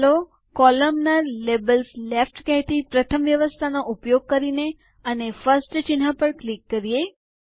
ચાલો કોલમનાર - labels left કહેતી પ્રથમ વ્યવસ્થા નો ઉપયોગ કરીએ અને ફર્સ્ટ ચિહ્ન પર ક્લિક કરીએ